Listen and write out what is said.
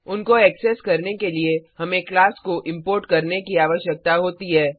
उनको एक्सेस करने के लिए हमें क्लास को इंपोर्ट करने की आवश्यकता होती है